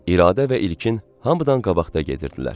İradə və İlkin hamıdan qabaqda gedirdilər.